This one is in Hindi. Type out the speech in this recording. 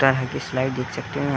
ता है कि स्लाइड ।